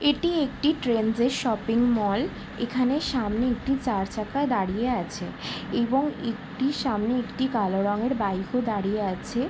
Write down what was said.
এটি একটি Trends shopping mall. এখানে সামনে একটি চার চাকায় দাঁড়িয়ে আছে এবং একটি সামনের একটি কালো রঙের বাইক ও দাঁড়িয়ে আছে ।